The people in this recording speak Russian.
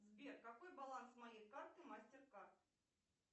сбер какой баланс моей карты мастеркард